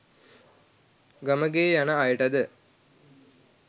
ගමගේ යන අයටද